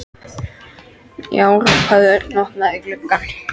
Já! hrópaði Örn og opnaði gluggann.